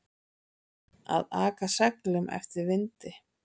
Að aka seglum eftir vindi